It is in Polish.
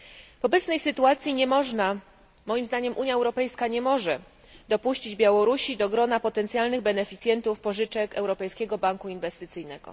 W obecnej sytuacji, moim zdaniem, Unia Europejska nie może dopuścić Białorusi do grona potencjalnych beneficjentów pożyczek Europejskiego Banku Inwestycyjnego.